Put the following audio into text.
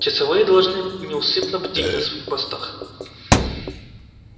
часовые должны неусыпно бдить на своих постах